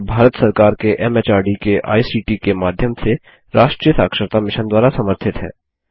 यह भारत सरकार के एमएचआरडी के आईसीटी के माध्यम से राष्ट्रीय साक्षरता मिशन द्वारा समर्थित है